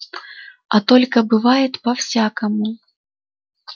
а только бывает по-всякому